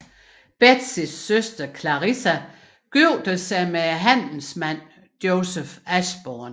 Betsys søster Clarissa gifter sig med handelsmanden Joseph Ashburn